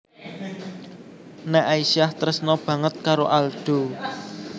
Nek Aisyah tresna banget karo Aldo